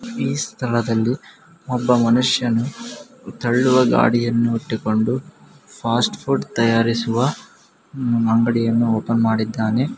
ಈ ಸ್ಥಳದಲ್ಲಿ ಒಬ್ಬ ಮನುಷ್ಯನು ತಳ್ಳುವ ಗಾಡಿಯನ್ನು ಇಟ್ಟಿಕೊಂಡು ಫಾಸ್ಟ್ ಫುಡ್ ತಯಾರಿಸುವ ಅಂಗಡಿಯನ್ನು ಓಪನ್ ಮಾಡಿದ್ದಾನೆ.